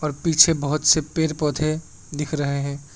और पीछे बहोत से पेड़ पौधे दिख रहे हैं।